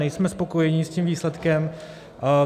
Nejsme spokojeni s tím výsledkem.